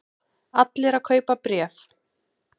Allir að kaupa bréf